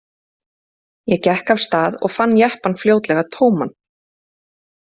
Ég gekk af stað og fann jeppann fljótlega tóman.